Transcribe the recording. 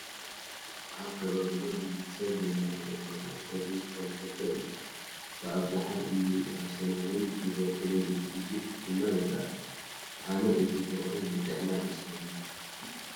ኣብ ከባቢና ብዙሕ ሰብ ብናይ ኣውሮፓ ኩዕሾ እግሪ ዝተለኸፈ እዩ፡፡ ብኣብዝሓ ንእኒ ኣርሴናልን ሊቨርፑልን እንትድግፍ ድማ ይርአ፡፡ ኣነ እዚ ፍቕሪ ናይ ጥዕና ኣይመስለንን፡፡